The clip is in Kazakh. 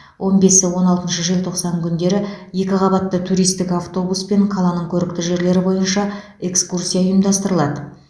он бесі он алтыншы желтоқсан күндері екіқабатты туристік автобуспен қаланың көрікті жерлері бойынша экскурсия ұйымдастырылады